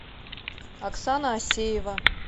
оксана осеева